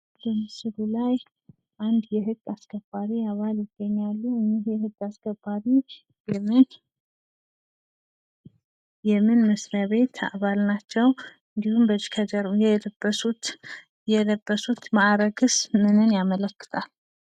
በምስሉ ላይ አንድ የህግ አስከባሪ አባል ይገኛሉ እኝህ የህግ አስከባሪ የምን መስሪያ ቤት አባል ናቸው? እንዲሁም የለበሱት ማዕረግስ ምንን ያመለክታል?